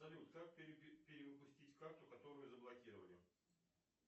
салют как перевыпустить карту которую заблокировали